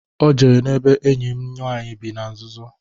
O jere n'ebe enyi m nwanyị bị na nzuzo.